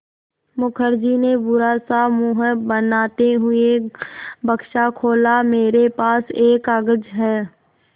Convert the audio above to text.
मुखर्जी ने बुरा सा मुँह बनाते हुए बक्सा खोला मेरे पास एक कागज़ है